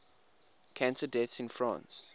cancer deaths in france